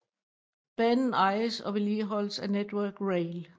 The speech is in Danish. Banen ejes og vedligeholdes af Network Rail